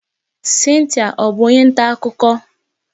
Cynthia ọ bụ onye nta akụkọ?